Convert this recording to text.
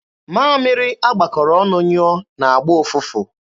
Mamịrị a gbakọrọ ọnụ nyụọ na-agba ụfụfụ.